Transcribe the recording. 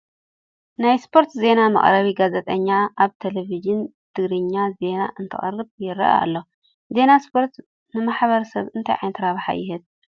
ናይ ስፖርቲ ዜና መቕረቢ ጋዜጠኛ ኣብ ቴለብዥን ትግራይ ዜና እንተቕርብ ይርአ ኣሎ፡፡ ዜና ስፖርት ንማሕበረ ሰብ እንታይ ዓይነት ረብሓ ይህብ?